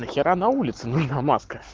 на хера улице на маска